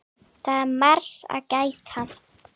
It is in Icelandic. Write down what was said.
Það var margs að gæta.